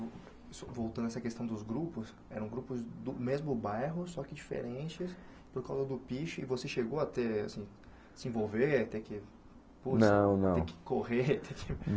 Voltando a essa questão dos grupos, eram grupos do mesmo bairro, só que diferentes, por causa do Piche, e você chegou a ter, assim, se envolver, ter que Não não te que correr ter que?